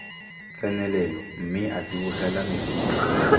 tsenelelo mme a tsibogela mefuta